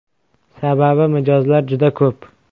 Sababi mijozlar juda ko‘p.